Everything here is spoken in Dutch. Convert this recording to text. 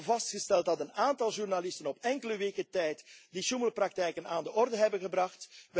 We hebben vastgesteld dat een aantal journalisten op enkele weken tijd die sjoemelpraktijken aan de orde hebben